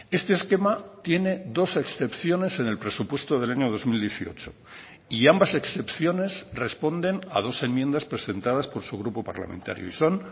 este esquema tiene dos excepciones en el presupuesto del año dos mil dieciocho y ambas excepciones responden a dos enmiendas presentadas por su grupo parlamentario y son